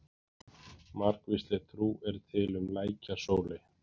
Margvísleg trú er til um lækjasóley.